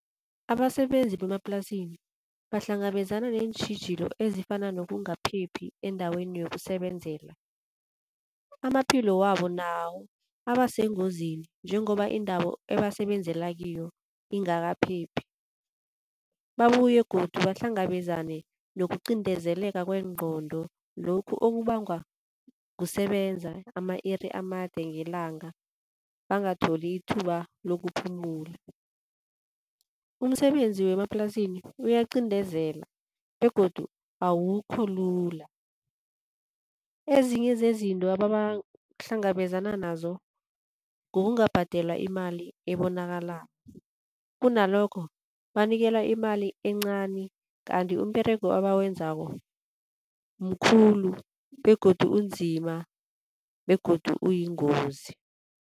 Abasebenzi bemaplasini bahlangabezana neentjhijilo ezifana nokungaphephi endaweni yokusebenzela. Amaphilo wabo nawo abasengozini njengoba indawo ebesebenzela kiyo ingakaphephi. Babuye godu bahlangabezane nokuqindezeleka kwengqondo lokhu okubangwa kusebenza ama-iri amade ngelanga bangatholi ithuba lokuphumula. Umsebenzi wemaplasini uyaqindezela begodu awukho lula. Ezinye zezinto abahlangabezana nazo kukungabhadelwa imali ebonakalako, kunalokho banikelwa imali encani kanti umberego abawenzako mkhulu begodu unzima begodu uyingozi.